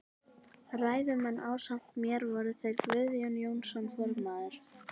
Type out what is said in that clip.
Ræðumenn ásamt mér voru þeir Guðjón Jónsson formaður